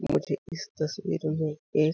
मुझे इस तस्वीर में एक --.